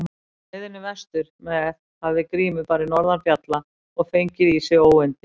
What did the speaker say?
Á leiðinni vestur með hafði Grímur farið norðan fjalla og fengið í sig óyndi.